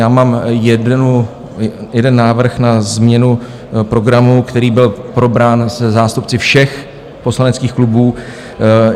Já mám jeden návrh na změnu programu, který byl probrán se zástupci všech poslaneckých klubů.